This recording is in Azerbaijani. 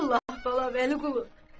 Vallahi, bala Vəliqulu.